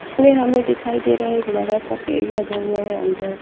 इसमें हमें दिखाई दे रहा है एक बड़ा सा पेड़ लगा हुआ है अंदर--